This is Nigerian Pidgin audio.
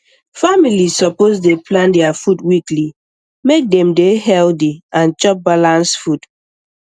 families suppose dey plan their food weekly make dem dey healthy and chop balance food